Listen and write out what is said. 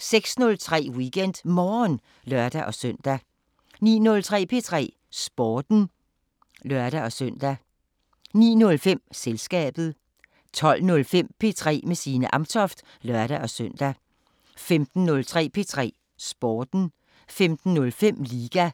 06:03: WeekendMorgen (lør-søn) 09:03: P3 Sporten (lør-søn) 09:05: Selskabet 12:05: P3 med Signe Amtoft (lør-søn) 15:03: P3 Sporten 15:05: Liga